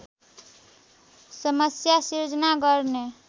समस्या सिर्जना गर्ने